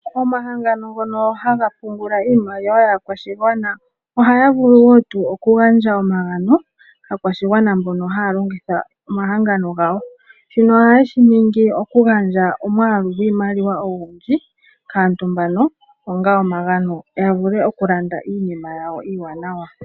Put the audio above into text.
Omahangano ngono haga pungula iimaliwa yaakwashigwana ohaya vulu wo tuu oku gandja omagano kaakwashigwana mbono haya longitha omahangano gawo, shino ohaye shi ningi oku gandja omwaalu gwiimaliwa ogundji kaantu mbano onga omagano, ya vule oku landa iinima yawo iiwaanawa.